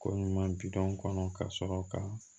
Ko ɲuman bidɔn kɔnɔ ka sɔrɔ ka